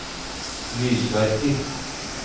lysverker